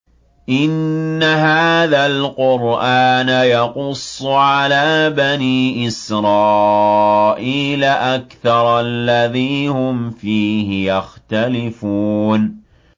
إِنَّ هَٰذَا الْقُرْآنَ يَقُصُّ عَلَىٰ بَنِي إِسْرَائِيلَ أَكْثَرَ الَّذِي هُمْ فِيهِ يَخْتَلِفُونَ